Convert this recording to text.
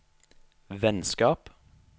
vennskap